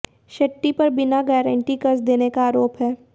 शेट्टी पर बिना गारंटी कर्ज देने का आरोप है